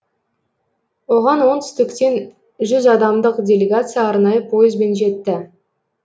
оған оңтүстіктен жүз адамдық делегация арнайы пойызбен жетті